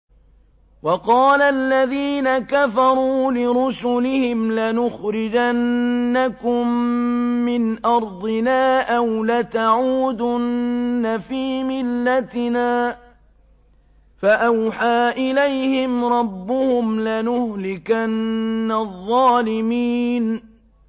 وَقَالَ الَّذِينَ كَفَرُوا لِرُسُلِهِمْ لَنُخْرِجَنَّكُم مِّنْ أَرْضِنَا أَوْ لَتَعُودُنَّ فِي مِلَّتِنَا ۖ فَأَوْحَىٰ إِلَيْهِمْ رَبُّهُمْ لَنُهْلِكَنَّ الظَّالِمِينَ